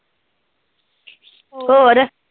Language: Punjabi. ਹੋਰ